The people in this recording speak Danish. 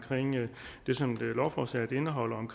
det som lovforslaget indeholder om